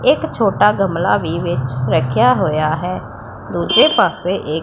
ਇਕ ਛੋਟਾ ਗਮਲਾ ਵੀ ਵਿੱਚ ਰੱਖਿਆ ਹੋਇਆ ਹੈ ਦੂਜੇ ਪਾਸੇ ਇਕ